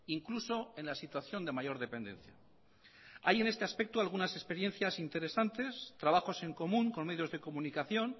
incluso en la situación de mayor dependencia hay en este aspecto algunas experiencias interesantes trabajos en común con medios de comunicación